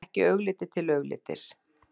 Ekki augliti til auglitis.